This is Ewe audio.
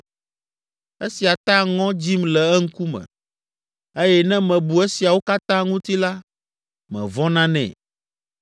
Esia ta ŋɔ dzim le eŋkume eye ne mebu esiawo katã ŋuti la, mevɔ̃na nɛ.